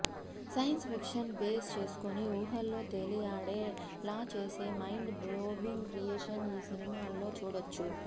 science fiction base చేసుకుని ఊహల్లో తేలియాడే లా చేసే మైండ్ బ్లోవింగ్ క్రియేషన్ ఈ సినిమాల్లో చూడొచ్చు